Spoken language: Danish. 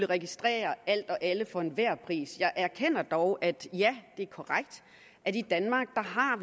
registrere alt og alle for enhver pris jeg erkender dog at det er korrekt at vi i danmark